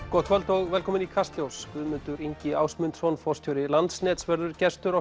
gott kvöld og velkomin í Kastljós Guðmundur Ingi Ásmundsson forstjóri Landsnets verður gestur